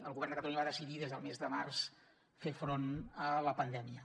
el govern de catalunya va decidir des del mes de març fer front a la pandèmia